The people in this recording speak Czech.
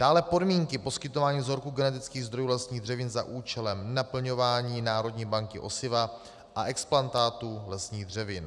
Dále podmínky poskytování vzorku genetických zdrojů vlastních dřevin za účelem naplňování Národní banky osiva a explantátů lesních dřevin.